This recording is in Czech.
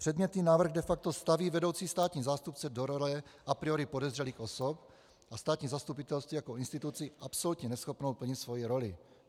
Předmětný návrh de facto staví vedoucí státní zástupce do role a priori podezřelých osob a státní zastupitelství jako instituci absolutně neschopnou plnit svoji roli.